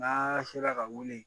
N'a sera ka wuli